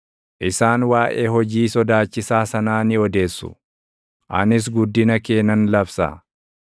Isaan waaʼee hojii kee sodaachisaa sanaa ni odeessu; anis guddina kee nan labsa.